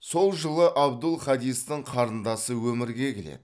сол жылы абдул хадистің қарындасы өмірге келеді